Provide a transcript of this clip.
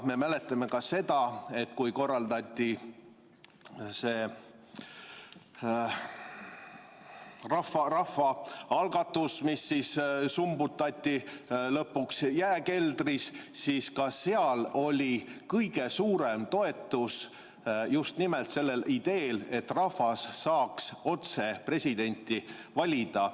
Me mäletame ka seda, et kui korraldati rahvaalgatus, mis summutati lõpuks jääkeldris, siis ka seal oli kõige suurem toetus just nimelt sellel ideel, et rahvas saaks otse presidenti valida.